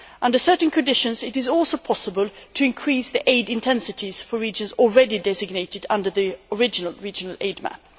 Under certain conditions, it is also possible to increase the aid intensities for regions already designated under the original regional aid map.